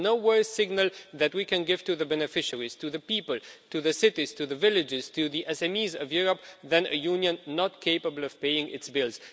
There is no worse signal that we can give to the beneficiaries, to the people, to the cities, to the villages, to the SMEs of Europe, than being a union not capable of paying its bills.